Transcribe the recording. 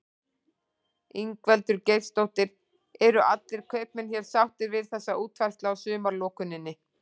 Ingveldur Geirsdóttir: Eru allir kaupmenn hér sáttir við þessa útfærslu á sumarlokuninni?